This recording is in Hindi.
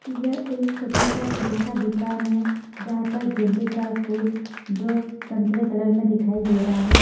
यह एक छोटा सा फूल का दुकान हे जहाँ पर गेंदे का फूल जो संतरे कलर में दिखाई दे रहा है।